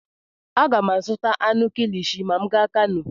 Aga m azụta anụ kilishi ma m gaa Kanu.